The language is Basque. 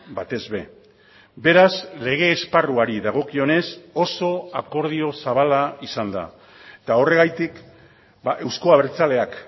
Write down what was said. batez ere beraz lege esparruari dagokionez oso akordio zabala izan da eta horregatik euzko abertzaleak